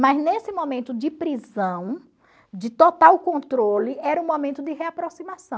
Mas nesse momento de prisão, de total controle, era um momento de reaproximação.